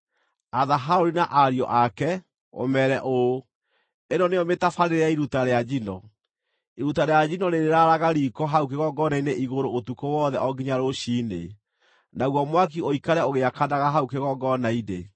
“Atha Harũni na ariũ ake, ũmeere ũũ: ‘Ĩno nĩyo mĩtabarĩre ya iruta rĩa njino: Iruta rĩa njino rĩrĩraaraga riiko hau kĩgongona-inĩ igũrũ ũtukũ wothe o nginya rũciinĩ, naguo mwaki ũikare ũgĩakanaga hau kĩgongona-inĩ.